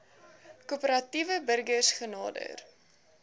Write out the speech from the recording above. korporatiewe burgers genader